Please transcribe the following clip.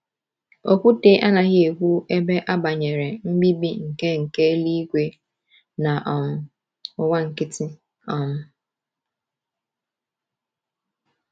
Okwute anaghị ekwu ebe a banyere mbibi nke nke eluigwe na um ụwa nkịtị. um